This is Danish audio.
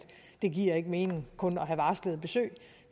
det ikke giver mening kun at have varslede besøg